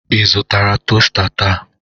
Ị zụtara tosta taa?